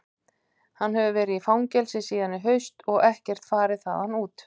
Hann hefur verið í fangelsi síðan í haust og ekkert farið þaðan út.